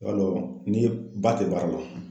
I b'a dɔn, ni ba tɛ baara la